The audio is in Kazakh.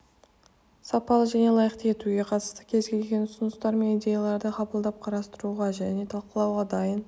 сапалы және лайықты етуге қатысты кез келген ұсыныстар мен идеяларды қабылдап қарастыруға және талқылауға дайын